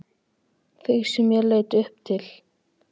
Þig sem ég leit upp til.